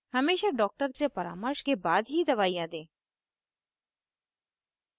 हमेशा doctor से परामर्श के बाद ही दवाइयाँ दें